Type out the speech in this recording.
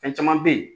Fɛn caman be ye